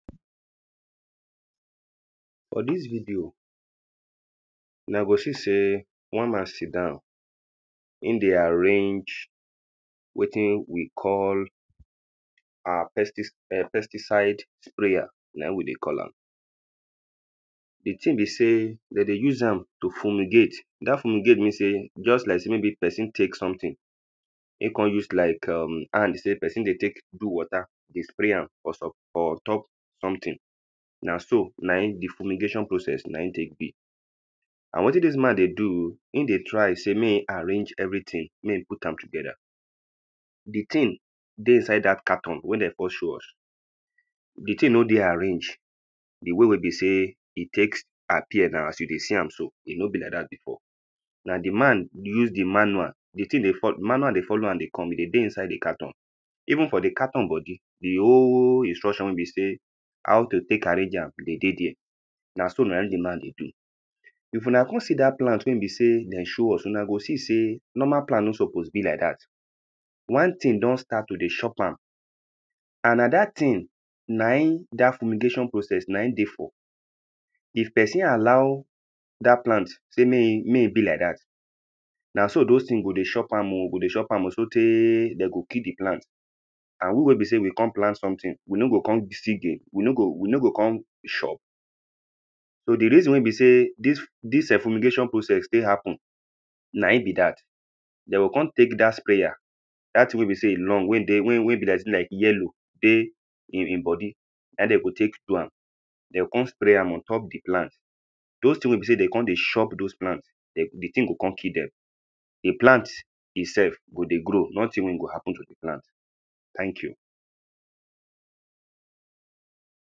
For dis video una go see sey one man sit down im dey arrange wetin we call [urn] pesti [urn] pesticide sprayer na im we dey call am, di thing be sey dem dey use am to fumigate, dat fumigate mean sey just like person take something im come use like [urn] how e be sey person dey take do water, dey spray am for so for on top something, na so na im di fumigation processs na im take be. And wetin dis man dey do, im dey try sey, make im arrange everything make im put am together di thing dey inside dat carton wey dem first show us, di thing no dey arrange, di way wey be sey, e take appear now, as you dey see am so, e no be like dat before, na di man use di manual, di thing dey fol manual dey follow am dey come, e dey dey inside di carton, even for di carton body, di whole instruction wey be sey, how to take arrange am dey dey there, na so na im di man dey do, if una come see dat plant wey be sey dem show us, una go see sey normal plant nor suppose be like dat, one thing don start to dey chop am, and na dat thing na im dat fumigation process na im dey for, if person allow dat plant sey make make e be like dat, na so doz things go dey chop am oh, go dey chop am oh, so tey dem go kill di plant and we wey be sey we come plant something, we no go come still gain? we no go come chop? so di reason wey be sey dis [urn] dis fumigation process take happen na im be dat, dem go come take dat sprayer, dat thing wey be sey e long, wey dey, wey be like sey in yellow dey im body, na im dem go take do am, dem go come spray am on top di plant, doz things wey be sey dem come dey chop di plant, di thing go come kill dem, di plant im sef, go dey grow, nothing wey go happen to di plant, thank you.